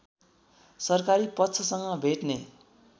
सरकारी पक्षसँग भेट्ने